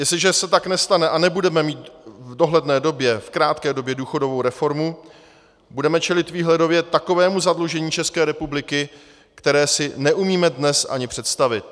Jestliže se tak nestane a nebudeme mít v dohledné době, v krátké době, důchodovou reformu, budeme čelit výhledově takovému zadlužení České republiky, které si neumíme dnes ani představit.